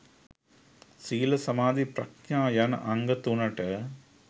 ශීල, සමාධි, ප්‍රඥා යන අංග තුනට